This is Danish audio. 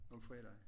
Om fredagen